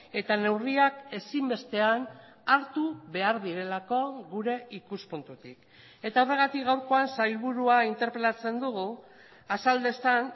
eta neurriak ezinbestean hartu behar direlako gure ikuspuntutik eta horregatik gaurkoan sailburua interpelatzen dugu azal dezan